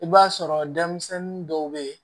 I b'a sɔrɔ denmisɛnnin dɔw bɛ yen